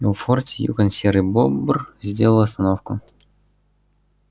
в форте юкон серый бобр сделал остановку